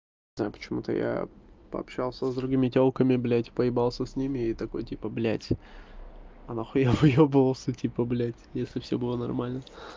почему-то я пообщался с другими тёлками блядь поебался с ними и такой типа блядь а на хуя выёбывался типа блядь если всё было нормально